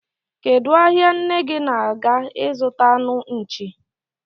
Kedụ ahia nne gi na-aga ịzụta anụ nchi?